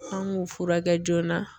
An g'u furakɛ joona